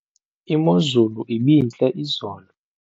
imozulu ibintle izolo